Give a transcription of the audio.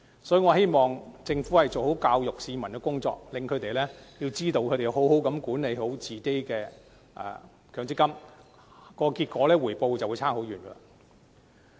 所以，我希望政府可以做好教育市民的工作，令他們明白只要妥善管理自己的強積金戶口，所得的回報自然會大不相同。